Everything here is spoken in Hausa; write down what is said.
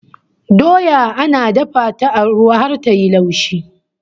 Doya ana dafa ta a ruwa har ta yi laushi